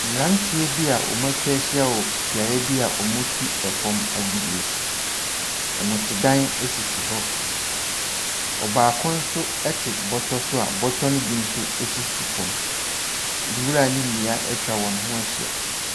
Mmranteɛ bi a wɔatwa ahyia wɔ beaeɛ bi a wɔtu fam agudeɛ. Nnɔrtedan sisi hɔ. Ɔbaako nso te bɔtɔ so a bɔtɔ no bi nso sisi fam. Nwura ne nnua atwa wɔn ho ahyia.